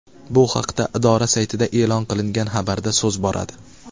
Bu haqda idora saytida e’lon qilingan xabarda so‘z boradi .